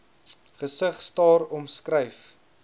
gesig staar omskryf